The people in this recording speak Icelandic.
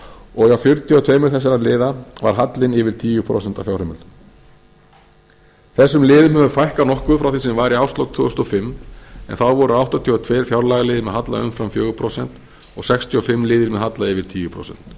og hjá fjörutíu og tvö þessara liða var hallinn yfir tíu prósent af fjárheimildum þessum liðum hefur fækkað nokkuð frá því sem var í árslok tvö þúsund og fimm en þá voru áttatíu og tvö fjárlagaliðir með halla umfram fjögur prósent og sextíu og fimm liðir með halla yfir tíu prósent